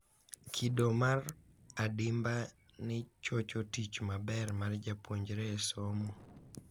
Kido mar adimba ni chocho tich maber mar japuonjre e somo